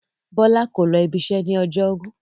Bọ́lá kò lọ ibiṣẹ́ ní ọjọ́rú.